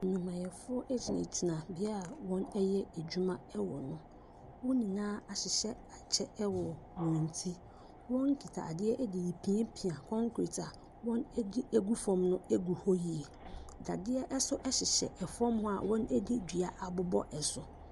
Nnwumayɛfoɔ ɛgyinagyina bea a wɔn ɛyɛ adwuma ɛwɔ no wɔn nyinaa ahyehyɛ akyɛ ɛwɔ wɔn ti wɔn kita adeɛ ɛderepiapia kɔnkret a wɔn adwi agu fam no agu hɔ yie dadeɛ ɛso hyehyɛ ɛfɔm hɔ a wɔn ɛde dua abobɔ ɛso.